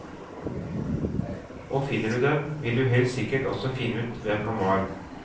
Og finner du dem, vil du helt sikkert også finne ut hvem han var.